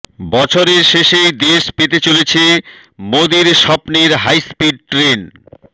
বছরের শেষেই দেশ পেতে চলেছে মোদীর স্বপ্নের হাইস্পিড ট্রেন